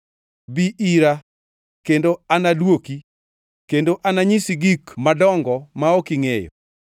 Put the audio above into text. ‘Bi ira, kendo anaduoki, kendo ananyisi gik madongo ma ok ingʼeyo.’